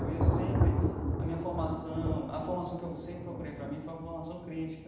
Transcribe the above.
Eu ia sempre, a minha formação, a formação que eu sempre procurei para mim foi a formação crítica.